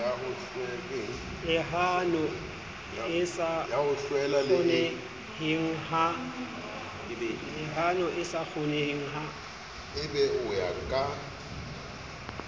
lehano e sa kgoneheng ha